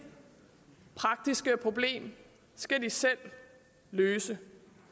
praktiske problem skal de selv løse